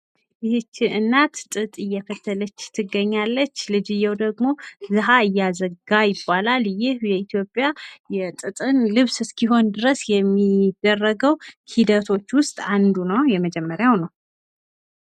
የህቺ እናት ጥጥ እየፈተለች ትገኛለች። ልጅዬው ደሞ ዘሀ እያዘጋ ይባላል። ይህ በኢትዮጵያ የጥጥን ልብስ እስኪሆን ድረስ የሚደረገው ሂደቶች ውስጥ አንዱ ነው የመጀመርያው ነው።።